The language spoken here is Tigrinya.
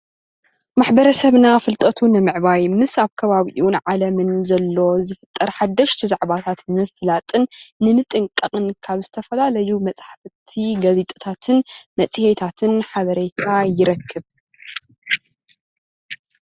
ማሕበረሰብና ፍልጠቱ ንምዕባይ ምስ ኣብ ከባቡኡን ዓለምን ንዘሎ ንዝፍጠር ሓደሽቲ ዛዕባታት ንምፍላጥን ንምጥንቃቅን ካብ ዝተፈላለዩ መፅሓፍትን ጋዜጣታትን መፅሄታትን ሓበሬታ ይረክብ፡፡